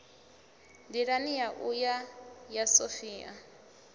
nḓilani ya u ya sophia